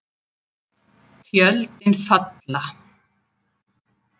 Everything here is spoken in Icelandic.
Tjöldin falla.